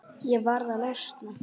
Ég varð að losna.